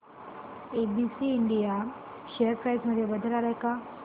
ABC India share price मध्ये बदल आलाय का